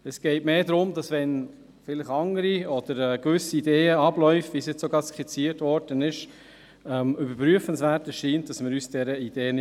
Es geht mehr darum, dass wir uns diesen Ideen nicht verschliessen wollen, wenn vielleicht andere Ideen und Abläufe, wie sie eben skizziert worden sind, überprüfenswert erscheinen.